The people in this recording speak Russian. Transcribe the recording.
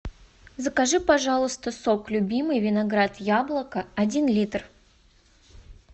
закажи пожалуйста сок любимый виноград яблоко один литр